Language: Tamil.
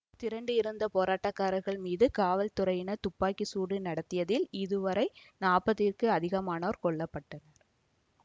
திரண்டு இருந்த போராட்டக்காரர்கள் மீது காவல்துறையினர் துப்பாக்கி சூடு நடத்தியதில் இதுவரை நாற்பதிற்கு அதிகமானோர் கொல்ல பட்டனர்